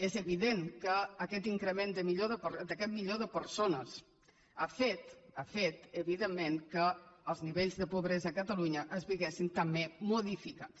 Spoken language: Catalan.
és evident que aquest increment d’aquest milió de persones ha fet ha fet evidentment que els nivells de pobresa a catalunya es veiessin també modificats